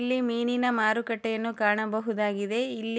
ಇಲ್ಲಿ ಮೀನಿನ ಮಾರುಕಟ್ಟೆಯನ್ನು ಕಾಣಬಹುದಾಗಿದೆ ಇಲ್ಲಿ